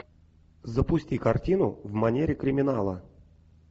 запусти картину в манере криминала